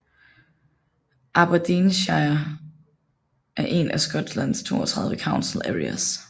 Aberdeenshire er en af Skotlands 32 Council areas